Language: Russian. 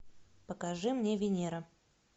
покажи мне венера